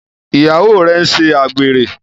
Ìyàwó rẹ n'se àgbèrè.